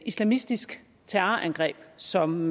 islamistisk terrorangreb som